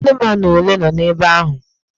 Anụmanụ ole nọ ebe ahụ?